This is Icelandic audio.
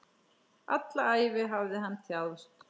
Alla ævi hafði hann þjáðst.